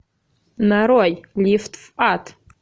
нарой лифт в ад